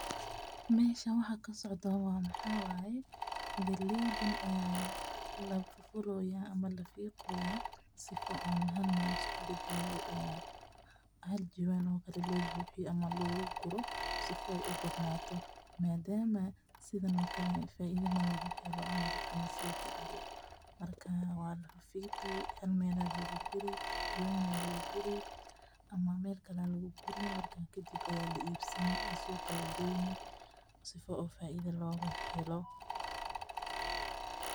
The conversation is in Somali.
Meshan wxa kasocdo wxa waye galeydan aya lafuroya ama lafiqoya sifo o halmel liskugugeyo o haljawan o kalelobuxiyo sifoy u badanato, madama sithan o kale faida malaguhelo ama dadka masijeclo marka walafiqi halmel a lagugiri jawan alagu guri ama melkale a laguguri marka kadip a laibsani suqa lageyni sifo oo faida logahelo.